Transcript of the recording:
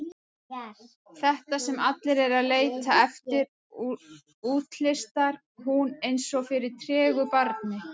Þetta sem allir eru að leita eftir, útlistar hún eins og fyrir tregu barni.